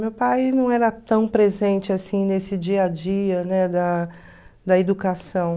Meu pai não era tão presente assim nesse dia a dia, né, da da educação.